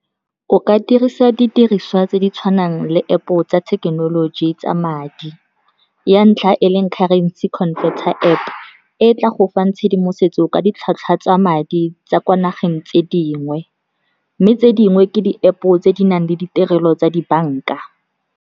O ka dirisa didiriswa tse di tshwanang le App-o tsa thekenoloji tsa madi. Ya ntlha e leng currency converter App, e tla go fang tshedimosetso ka ditlhwatlhwa tsa madi tsa kwa nageng tse dingwe, mme tse dingwe ke di-App-o tse di nang le ditirelo tsa dibanka.